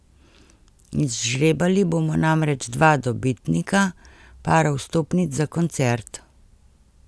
Izžrebali bomo namreč dva dobitnika para vstopnic za koncert.